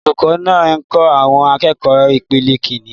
Olùkọ́ náà ń kọ́ àwọn akẹ́kọ̀ọ́ ìpele Kínní.